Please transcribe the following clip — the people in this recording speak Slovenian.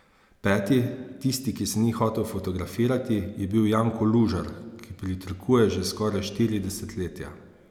Peti, tisti, ki se ni hotel fotografirati, je bil Janko Lužar, ki pritrkuje že skoraj štiri desetletja.